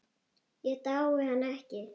Ég dái hana ekki.